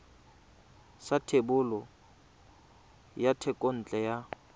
sa thebolo ya thekontle ya